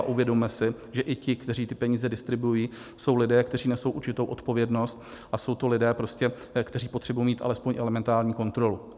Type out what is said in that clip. A uvědomme si, že i ti, kteří ty peníze distribuují, jsou lidé, kteří nesou určitou odpovědnost, a jsou to lidé, kteří potřebují mít alespoň elementární kontrolu.